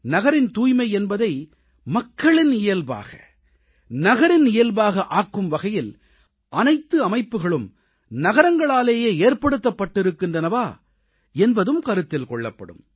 நகரின் தூய்மை என்பதை மக்களின் இயல்பாக நகரின் இயல்பாக ஆக்கும் வகையில் அனைத்து அமைப்புக்களும் நகரங்களாலேயே ஏற்படுத்தப்பட்டிருக்கின்றனவா என்பதும் கருத்தில் கொள்ளப்படும்